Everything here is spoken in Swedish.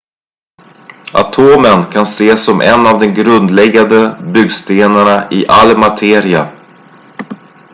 atomen kan ses som en av de grundläggande byggstenarna i all materia